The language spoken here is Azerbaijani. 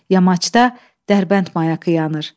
Yamacda Dərbənd mayakı yanır.